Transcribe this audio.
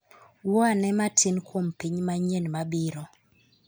Wuo ane matin kuom piny manyien mabiro